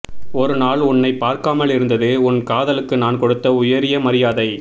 ஒரு நாள் உன்னைப் பார்க்காமல் இருந்தது உன் காதலுக்கு நான் கொடுத்த உயரிய மரியாதை